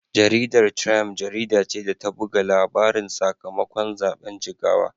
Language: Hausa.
Jaridar Triump jarida ce ta buga labarin sakamakon zaben Jigawa.